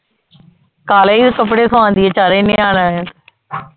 ਕਾਲੇ ਈ ਕਪੜੇ ਸਵਾਦੀਏ ਚਾਰੇ ਨਿਆਣਾ ਦੇ